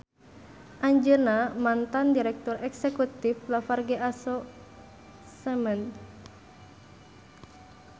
Anjeunna mantan direktur eksekutif Lafarge Aso Cement